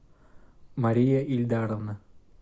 мария ильдаровна